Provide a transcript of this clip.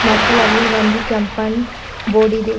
ಮತ್ತು ಅಲ್ಲಿ ಒಂದು ಕೆಂಪನ್ ಬೋರ್ಡ ಇದೆ.